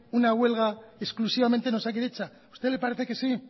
una huelga exclusivamente en osakidetza a usted le parece que sí